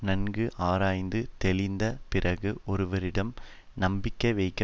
நன்கு ஆராய்ந்து தெளிந்த பிறகு ஒருவரிடம் நம்பிக்கை வைக்க